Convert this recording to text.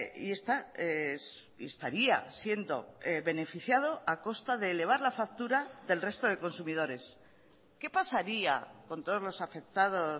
y estaría siendo beneficiado a costa de elevar la factura del resto de consumidores qué pasaría con todos los afectados